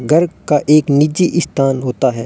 घर का एक निजी स्थान होता है।